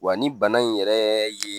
Wa ni bana in yɛrɛ ye